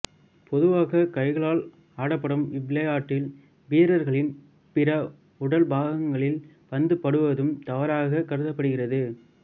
பொதுவாக கைகளால் ஆடப்படும் இவ்விளையாட்டில் வீரர்களின் பிற உடல் பாகங்களில் பந்து படுவதும் தவறாகக் கருதப்படுகிறது